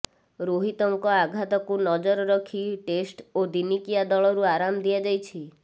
ରୋହିତଙ୍କ ଆଘାତକୁ ନଜର ରଖି ଟେଷ୍ଟ ଓ ଦିନିକିଆ ଦଳରୁ ଆରାମ୍ ଦିଆଯାଇଛି